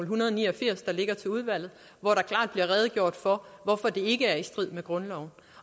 hundrede og ni og firs der ligger til udvalget hvor der klart bliver redegjort for hvorfor det ikke er i strid med grundloven